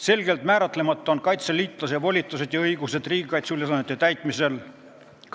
Selgelt kindlaks määramata on kaitseliitlase volitused ja õigused riigikaitseülesannete täitmisel,